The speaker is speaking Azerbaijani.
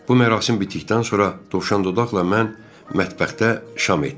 Bu mərasim bitdikdən sonra Dovşandodaqla mən mətbəxdə şam etdik.